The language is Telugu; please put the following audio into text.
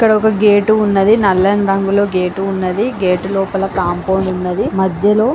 ఇక్కడ ఒక గేట్ ఉన్నది. నల్లని రంగులో గేట్ ఉన్నది. గేట్ లోపల కాంపౌండ్ ఉన్నది.మధ్యలో--